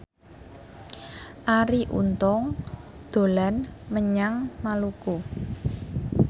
Arie Untung dolan menyang Maluku